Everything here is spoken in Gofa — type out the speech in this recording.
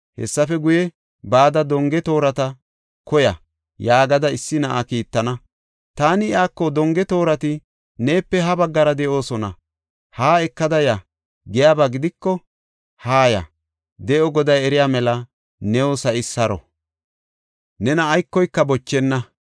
Hessafe guye, ‘Bada donge toorata koya’ yaagada issi na7a kiittana. Taani iyako, ‘Donge toorati neepe ha baggara de7oosona; haa ekada ya’ giyaba gidiko, haaya; de7o Goday eriya mela, new sa7i saro; nena aykoyka bochenna.